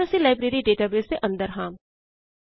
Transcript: ਹੁਣ ਅਸੀ library database ਦੇ ਅੰਦਰ ਹਾਂ